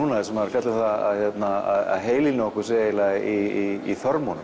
sem fjalla um það að heilinn á okkur sé í